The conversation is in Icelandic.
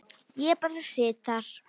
Ég bara sit þar.